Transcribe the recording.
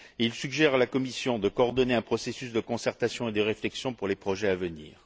Il suggère à la Commission de coordonner un processus de concertation et de réflexion pour les projets à venir.